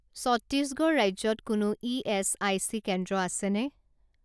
ছত্তীশগড় ৰাজ্যত কোনো ইএচআইচি কেন্দ্ৰ আছেনে?